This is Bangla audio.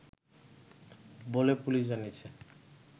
বলে পুলিশ জানিয়েছে